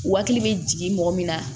Hakili bɛ jigin mɔgɔ min na